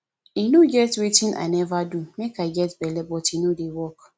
e no get wetin i never do make i get belle but nothing dey work